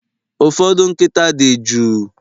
Ụfọdụ nkịta dị jụụ